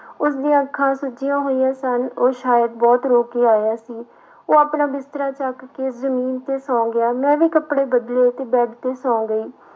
ਉਸਦੀਆਂ ਅੱਖਾਂ ਸੁੱਜੀਆਂ ਹੋਈਆਂ ਸਨ ਉਹ ਸ਼ਾਇਦ ਬਹੁਤ ਰੋ ਕੇ ਆਇਆ ਸੀ, ਉਹ ਆਪਣਾ ਬਿਸਤਰਾ ਚੁੱਕ ਕੇ ਜ਼ਮੀਨ ਤੇ ਸੌਂ ਗਿਆ, ਮੈਂ ਵੀ ਕੱਪੜੇ ਬਦਲੇ ਤੇ ਬੈਡ ਤੇ ਸੌਂ ਗਈ।